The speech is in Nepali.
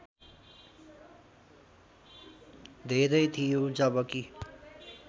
धेरै थियो जबकि